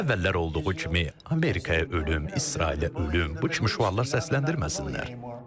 Əvvəllər olduğu kimi Amerikaya ölüm, İsrailə ölüm, bu kimi şüarlar səsləndirməsinlər.